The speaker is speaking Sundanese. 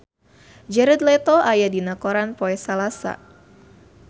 Jared Leto aya dina koran poe Salasa